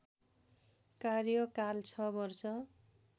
कार्यकाल ६ वर्ष